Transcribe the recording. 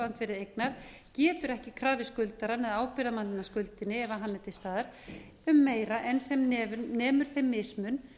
uppboðsandvirði eignar getur ekki krafið skuldarann eða ábyrgðarmann að skuldinni ef hann er til staðar um meira en sem nemur þeim mismun